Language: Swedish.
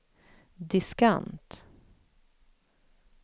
diskant